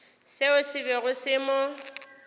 seo se bego se mo